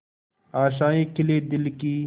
आशाएं खिले दिल की